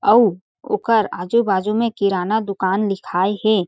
अउ ओकर आजु-बाजू में किराना दुकान लिखाय हें।